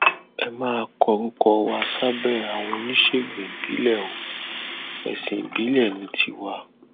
ẹ má kórúkọ wa sábẹ àwọn oníṣègùn ìbílẹ o ẹsìn ìbílẹ ní tiwa